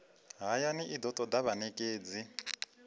hayani i do toda vhanekedzi